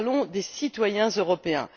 Nous parlons des citoyens européens.